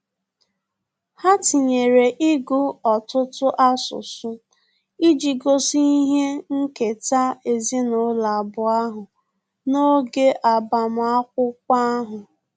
Ha tinyere ịgụ ọtụtụ asụsụ iji gosi ihe nketa ezinụlọ abụọ ahụ n'oge agbamakwụkwọ ahu